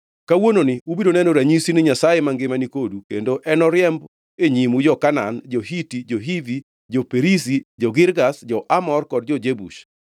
Kawuononi ubiro neno ranyisi ni Nyasaye mangima nikodu kendo enoriemb e nyimu jo-Kanaan, jo-Hiti, jo-Hivi, jo-Perizi, jo-Girgash, jo-Amor kod jo-Jebus.